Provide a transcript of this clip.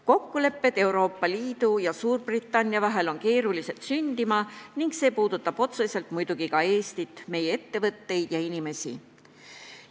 Kokkulepped Euroopa Liidu ja Suurbritannia vahel on keerulised sündima ning see puudutab otseselt muidugi ka Eestit, meie ettevõtteid ja inimesi.